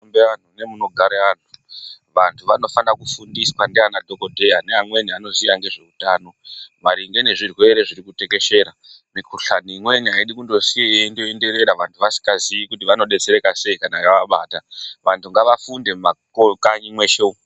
Mukanyi nemunogare vantu, vantu vanosakaa kufundiswa ndiana dhokodheya neamweni vanoziya ngezvehutano maringe ngezvirwere zvirikutekeshera. Mikuhlane imweni haidi kungosiwa yeingoenderera vantu vasingazivi kuti vanodetsereka seyi kana yavabata, vantu ngavafunde mumakanyi mweshe umo.